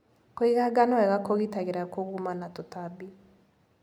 Kũiga ngano wega kũgitagĩra kũguma na tũtambi.